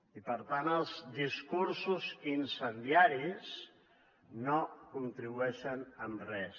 i per tant els discursos incendiaris no hi contribueixen en res